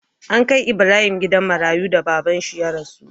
An kai Ibrahim gidan marayu da babban shi ya rasu